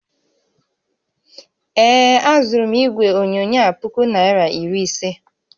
Ee, azụrụ m igwe onyonyo a puku naira iri ise